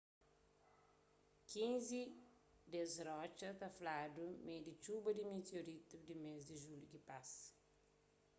kinzi des rotxa ta fladu ma é di txuba di mitiorítu di mês di julhu ki pasa